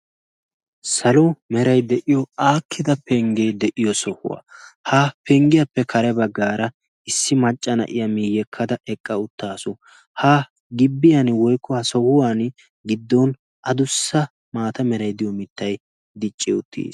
Salo meray de'iyo aakkida penggee de'iyo sohuwaa ha penggiyaappe kare baggaara issi macca na'iya miiyyekkada eqqa uttaasu. ha gibbiyan woikuwaa sohuwan giddon adussa maata meray diyo mittay dicci uttiis.